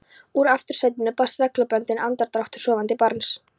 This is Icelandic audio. Úr aftursætinu barst reglubundinn andardráttur sofandi barns.